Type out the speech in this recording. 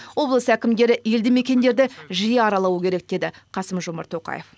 облыс әкімдері елді мекендерді жиі аралауы керек деді қасым жомарт тоқаев